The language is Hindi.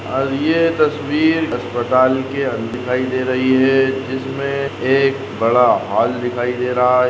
ये तस्वीर अस्पताल के दिखाई दे रही है जिसमे एक बड़ा हॉल दिखाई दे रहा है।